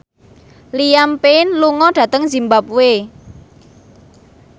Liam Payne lunga dhateng zimbabwe